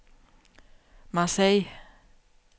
Marseilles